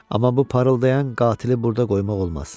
Amma bu parıldayan qatili burda qoymaq olmaz.